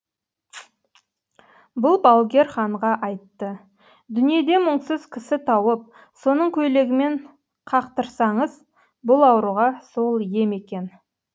бұл балгер ханға айтты дүниеде мұңсыз кісі тауып соның көйлегімен қақтырсаңыз бұл ауруға сол ем екен